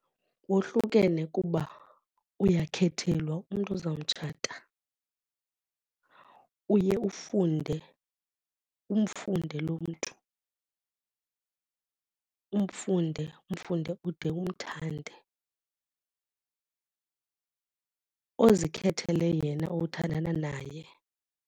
Wohlukene kuba uyakhethelwa umntu oza mtshata, uye ufunde, umfunde lo mntu umfunde umfunde ude umthande ozikhethele yena othandana naye.